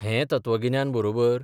हें तत्वगिन्यान बरोबर?